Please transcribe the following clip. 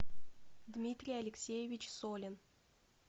дмитрий алексеевич солин